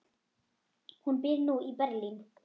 Hún býr nú í Berlín.